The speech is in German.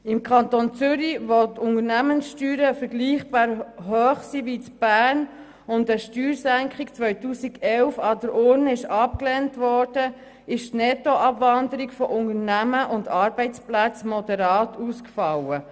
Im Kanton Zürich, wo die Unternehmenssteuern vergleichbar hoch sind wie im Kanton Bern und eine Steuersenkung 2011 an der Urne abgelehnt wurde, fiel die Nettoabwanderung von Unternehmen und Arbeitsplätzen moderat aus.